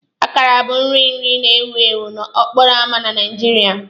Akara bụ nri nri na-ewu ewu n'okporo ámá na Nigeria.